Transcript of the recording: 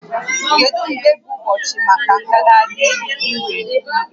Kedu mgbe bụ ụbọchị maka ngagharị iwe?